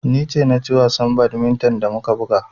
Ni ce na ci wasan badminton da muka buga.